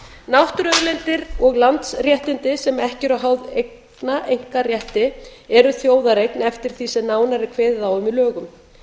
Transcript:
náttúruauðlindir og landsréttindi sem ekki eru háð einkaeignarrétti eru þjóðareign eftir því sem nánar er kveðið á um í lögum